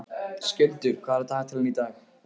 Skjöldur, hvað er í dagatalinu í dag?